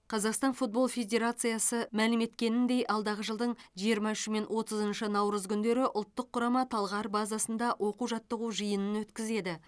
қазақстан футбол федерациясы мәлім еткеніндей алдағы жылдың жиырма үші мен отызыншы наурыз күндері ұлттық құрама талғар базасында оқу жаттығу жиынын өткізеді